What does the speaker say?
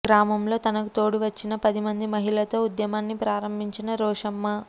గ్రామంలో తనకు తోడు వచ్చిన పది మంది మహిళతో ఉద్యమాన్ని ప్రారంభించిన రోశమ్మ